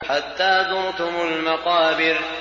حَتَّىٰ زُرْتُمُ الْمَقَابِرَ